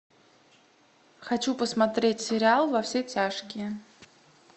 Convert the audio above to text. хочу посмотреть сериал во все тяжкие